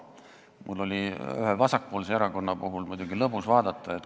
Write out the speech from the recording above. Mul oli ühte vasakpoolset erakonda muidugi lõbus vaadata.